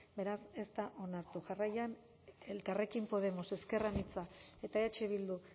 beraz ez da onartu jarraian elkarrekin podemos ezker anitza eta eh bildu